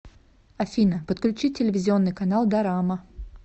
афина подключи телевизионный канал дорама